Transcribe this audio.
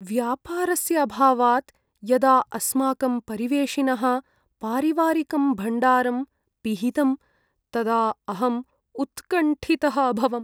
व्यापारस्य अभावात् यदा अस्माकं परिवेशिनः पारिवारिकं भण्डारं पिहितं तदा अहम् उत्कण्ठितः अभवम्।